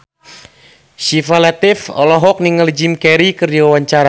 Syifa Latief olohok ningali Jim Carey keur diwawancara